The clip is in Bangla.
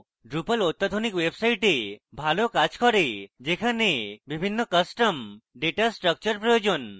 drupal অত্যাধুনিক websites ভাল কাজ করে যেখানে বিভিন্ন custom data স্ট্রাকচার প্রয়োজন